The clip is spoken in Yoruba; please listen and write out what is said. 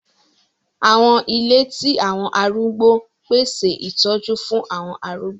Àwọn ìle ti àwọn àrúgbó n pese itọju fun awọn arúgbó.